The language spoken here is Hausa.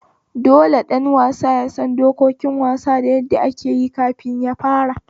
Dole ɗan wasa yasan dokokin wasa da yadda akeyi kafin yafara